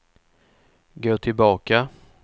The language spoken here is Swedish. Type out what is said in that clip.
gå tillbaka